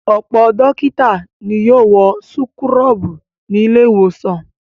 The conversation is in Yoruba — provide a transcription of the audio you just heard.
Ọ̀pọ̀ dókítà ni yóò wọ súkúrọ́bù ní ilé-ìwòsàn.